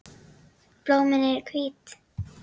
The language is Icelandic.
Blómin eru hvít.